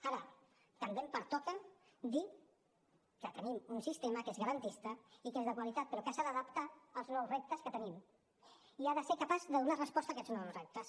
ara també em pertoca dir que tenim un sistema que és garantista i que és de qualitat però que s’ha d’adaptar als nous reptes que tenim i que ha de ser capaç de donar resposta a aquests nous reptes